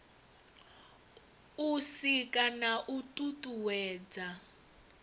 u sika na u tutuwedza